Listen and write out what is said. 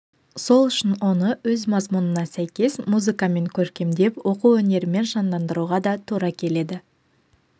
сол үшін оны өз мазмұнына сәйкес музыкамен көркемдеп оқу өнерімен жандандыруға да тура келеді